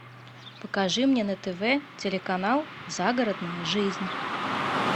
покажи мне на тв телеканал загородная жизнь